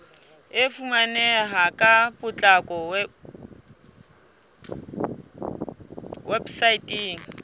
e fumaneha ka potlako weposaeteng